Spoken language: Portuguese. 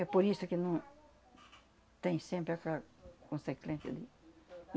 É por isso que não... Tem sempre aquela consequência ali.